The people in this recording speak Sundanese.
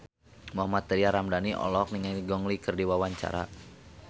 Mohammad Tria Ramadhani olohok ningali Gong Li keur diwawancara